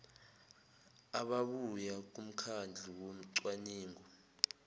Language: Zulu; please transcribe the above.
ababuya kumkhandlu wocwaningo